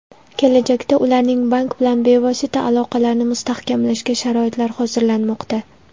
Kelajakda ularning bank bilan bevosita aloqalarni mustahkamlashga sharoitlar hozirlanmoqda.